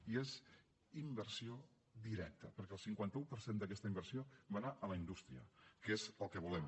i és inversió directa perquè el cinquanta un per cent d’aquesta inversió va anar a la indústria que és el que volem